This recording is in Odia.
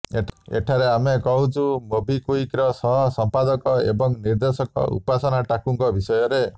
ଏଠାରେ ଆମେ କହୁଛୁ ମୋବିକ୍ୱିକର ସହ ସଂସ୍ଥାପକ ଏବଂ ନିର୍ଦ୍ଦେଶକ ଉପାସନା ଟାକୁଙ୍କ ବିଷୟରେ